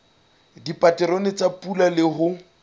dipaterone tsa pula le ho